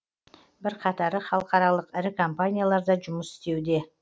бірқатары халықаралық ірі компанияларда жұмыс істеуде